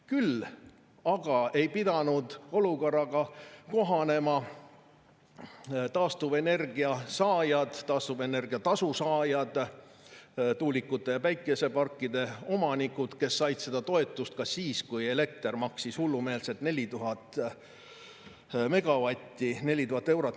Küll aga ei pidanud olukorraga kohanema taastuvenergia tasu saajad, tuulikute ja päikeseparkide omanikud, kes said seda toetust ka siis, kui elekter maksis hullumeelsed 4000 eurot megavatt-tunni kohta.